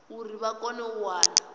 uri vha kone u wana